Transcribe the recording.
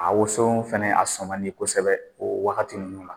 A woson fɛnɛ a sɔn ka di kosɛbɛ o wagati nunnu na